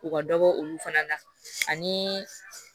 U ka dɔ bɔ olu fana na ani